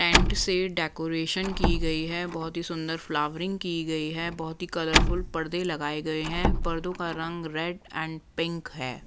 Tent से decoration की गई हैं बहुत ही सुंदर फ्लावरिंग की गई हैं बहुत ही कलरफुल पर्दे लगाए गए हैं पर्दों का रंग रेड एंड पिंक हैं।